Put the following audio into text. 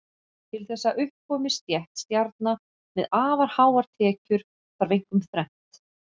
Til þess að upp komi stétt stjarna með afar háar tekjur þarf einkum þrennt.